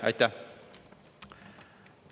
Aitäh!